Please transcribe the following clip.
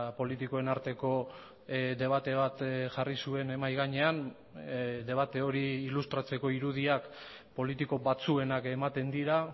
politikoen arteko debate bat jarri zuen mahai gainean debate hori ilustratzeko irudiak politiko batzuenak ematen dira